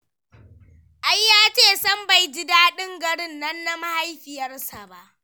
Ya ce sam bai ji daɗin garin na mahaifiyarsa ba